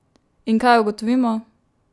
In kaj ugotovimo?